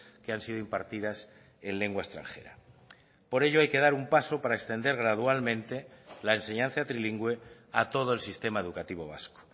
que han sido impartidas en lengua extranjera por ello hay que dar un paso para extender gradualmente la enseñanza trilingüe a todo el sistema educativo vasco